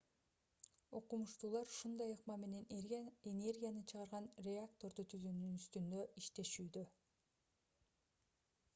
окумуштуулар ушундай ыкма менен энергия чыгарган реакторду түзүүнүн үстүнөн иштешүүдө